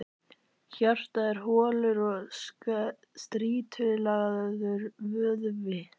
Hjartað er holur og strýtulagaður vöðvi.